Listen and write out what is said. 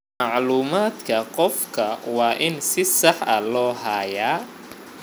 Macluumaadka qofka waa in si sax ah loo hayaa.